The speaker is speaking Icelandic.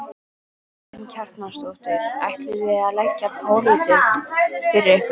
Karen Kjartansdóttir: Ætlið þið að leggja pólitík fyrir ykkur?